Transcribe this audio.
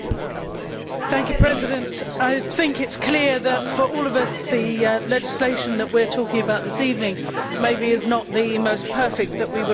Mr President, I think it is clear that for all of us the legislation that we are talking about this evening maybe is not the most perfect that we would have hoped for.